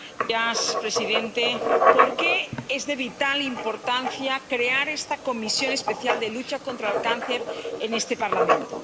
Señor presidente, ¿por qué es de vital importancia crear una Comisión Especial sobre la Lucha contra el Cáncer en este Parlamento?